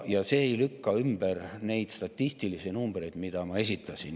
Ja see ei lükka ümber neid statistilisi numbreid, mida ma esitasin.